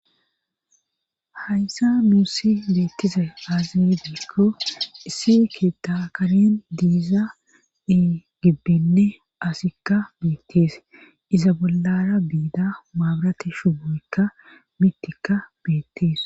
hayssa nuussi beettize aazi giza gidikko isse keta karen diiza ii gibbinne asikka beettees iza bollara biida maabrati shuboykka mitikka beettees